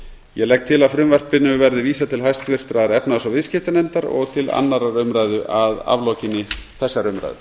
ég legg til að frumvarpinu verði vísað til háttvirtrar efnahags og viðskiptanefndar og til annarrar umræðu að aflokinni þessari umræðu